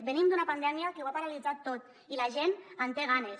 venim d’una pandèmia que ho ha paralitzat tot i la gent en té ganes